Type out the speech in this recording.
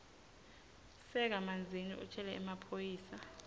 sakamanzini utjele emaphoyisa